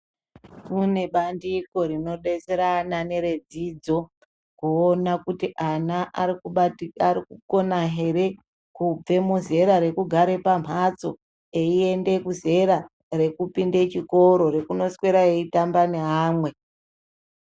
Kune bandiko rinodetsera ana neredzidzo, kuona kuti ana arikukona here kubve muzera rekugare pamhatso eiende kuzera rekupinde chikoro rekunoswera eitamba neamwe.